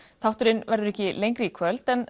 þátturinn verður ekki lengri í kvöld en